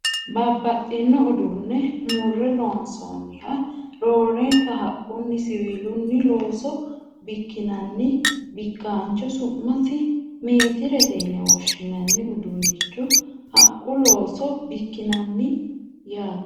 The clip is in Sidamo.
Babbaxxino uduunne murre loonsanniha roorenka haqqunna siwiilu looso bikkinanni bikkancho su'mase meetirete yine woshshinanni uduunnichi haqqu looso bikkinanna no yaate